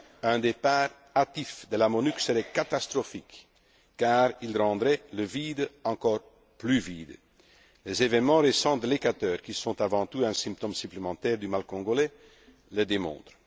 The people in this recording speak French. Un départ hâtif de la MONUC serait catastrophique car il rendrait le vide encore plus vide les événements récents de l'Équateur, qui sont avant tout un symptôme supplémentaire du mal congolais, le démontrent.